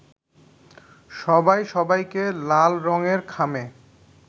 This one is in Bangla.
সবাই সবাইকে লাল রংয়ের খামে